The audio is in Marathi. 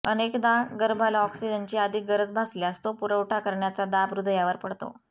अनेकदा गर्भाला ऑक्सिजनची अधिक गरज भासल्यास तो पुरवठा करण्याचा दाब हृदयावर पडतो